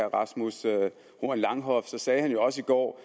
rasmus horn langhoff så sagde han jo også i går